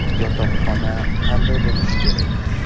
Yotoqxona qanday bo‘lishi kerak?